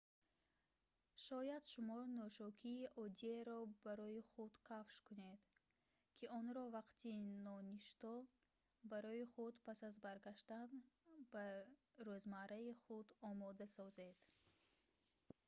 шояд шумо нӯшокиии оддиеро барои худ кашф кунед ки онро вақти ноништо барои худ пас аз баргаштан ба рӯзмарраи худ омода созед